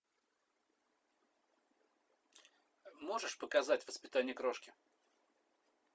можешь показать воспитание крошки